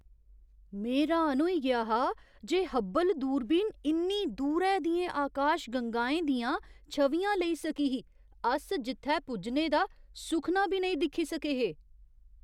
में र्‌हान होई गेआ हा जे हब्बल दूरबीन इन्नी दूरै दियें आकाशगंगाएं दियां छवियां लेई सकी ही अस जित्थै पुज्जने दा सुखना बी नेईं दिक्खी सके हे!